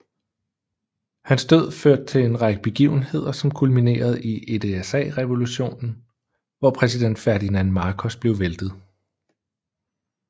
Hans død førte til en række begivenheder som kulminerede i EDSA Revolutionen hvor præsident Ferdinand Marcos blev væltet